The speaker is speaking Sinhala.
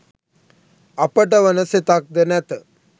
අපට වන සෙතක්ද නැත